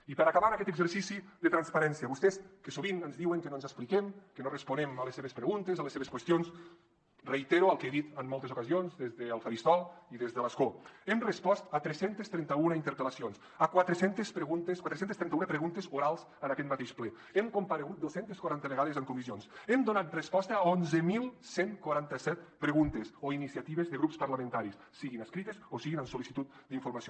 i per acabar amb aquest exercici de transparència vostès que sovint ens diuen que no ens expliquem que no responem a les seves preguntes a les seves qüestions reitero el que he dit en moltes ocasions des del faristol i des de l’escó hem respost a tres cents i trenta un interpel·lacions a quatre cents i trenta un preguntes orals en aquest mateix ple hem comparegut dos cents i quaranta vegades en comissions hem donat resposta a onze quaranta set preguntes o iniciatives de grups parlamentaris siguin escrites o siguin amb sol·licitud d’informació